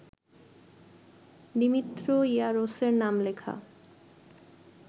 Dimitri ইয়ারোসের নাম লেখা